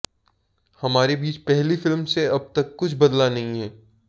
हमारे बीच पहली फिल्म से अब तक कुछ बदला नहीं है